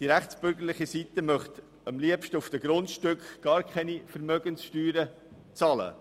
Die rechtsbürgerliche Seite möchte am liebsten gar keine Vermögenssteuern auf den Grundstücken bezahlen.